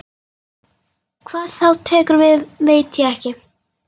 Hvað þá tekur við veit ég ekki.